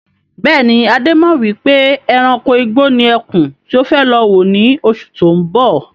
Bẹ́ẹ̀ni, Adé mọ wípé ẹranko igbó ni ẹkún tí ó fẹ́ lọ wò ní oṣù tó ń bọ̀.